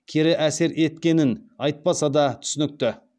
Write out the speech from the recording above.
кері әсер еткенін айтпаса да түсінікті